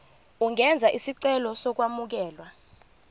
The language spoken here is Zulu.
ungenza isicelo sokwamukelwa